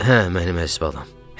Hə, mənim əziz balam.